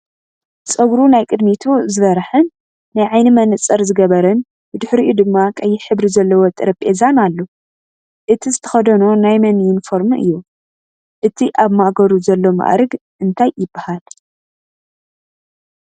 ፀጉሩ ናይ ቅዲሚቱ ዝበረሐን ናይ ዓይኒ መነፀር ዝገበረን ብድሕርይኡ ድማ ቀይሕ ሕብሪ ዘለዎ ጠረጴዛን ኣሎ። እቱይ ዝተከደኖ ናይ መን ዩኒፎርሚ እዩን ? እቱይ ኣብ ማእገሩ ዘሎ ማዕርግ እንታይ ይብሃል ?